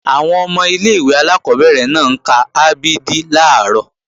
Àwọn ọmọ ilé-ìwé alákọ́bẹ̀rẹ̀ náà ń ka a b d làárọ̀